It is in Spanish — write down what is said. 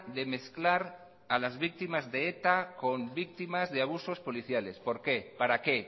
de mezclar a las víctimas de eta con víctimas de abusos policiales por qué para qué